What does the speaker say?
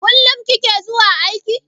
Kullum kike zuwa aiki?